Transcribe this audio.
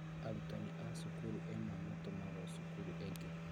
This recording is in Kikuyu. Arutani a cukuru ĩmwe matũmagwo cukuru ĩngĩ